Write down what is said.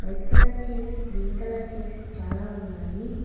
White colour chairs green colour chairs చాలా ఉన్నాయి.